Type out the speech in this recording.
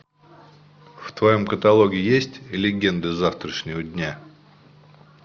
в твоем каталоге есть легенды завтрашнего дня